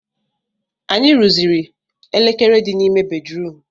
Anyị rụziri elekere di n'ime bedrum